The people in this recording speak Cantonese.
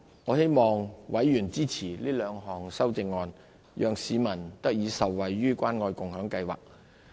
我希望委員支持這兩項修正案，讓市民得以受惠於關愛共享計劃。